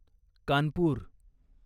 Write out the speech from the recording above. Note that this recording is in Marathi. कानपूर